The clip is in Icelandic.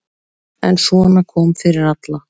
En svona kom fyrir alla.